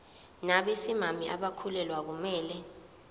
nabesimame abakhulelwe akumele